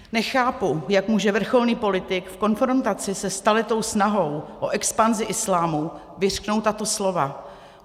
Nechápu, jak může vrcholný politik v konfrontaci se staletou snahou o expanzi islámu vyřknout tato slova.